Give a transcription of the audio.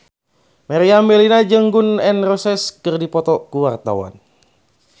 Meriam Bellina jeung Gun N Roses keur dipoto ku wartawan